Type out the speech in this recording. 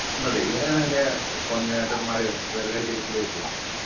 ഇവരാണ് അതിൻറെ cordinator മാരെ